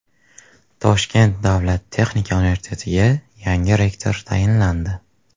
Toshkent davlat texnika universitetiga yangi rektor tayinlandi.